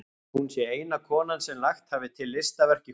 Hún sé eina konan sem lagt hafi til listaverk í húsið.